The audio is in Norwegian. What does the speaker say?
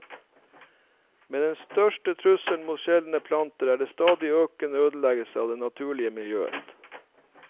Men den største trusselen mot sjeldne planter er den stadig økende ødeleggelsen av det naturlige miljøet.